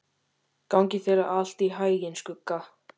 Gangi þér allt í haginn, Skugga.